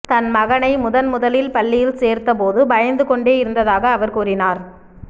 தம் மகனை முதன்முதலில் பள்ளியில் சேர்த்தபோது பயந்து கொண்டே இருந்ததாக அவர் கூறினார்